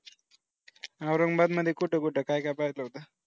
औरंगाबाद मध्ये कुठे कुठ काय काय पाहिलं होतं.